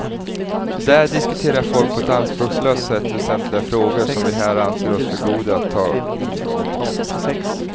Där diskuterar folk på ett anspråkslöst sätt väsentliga frågor som vi här anser oss för goda att ta i med tång.